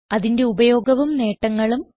അതിന്റെ ഉപയോഗവും നേട്ടങ്ങളും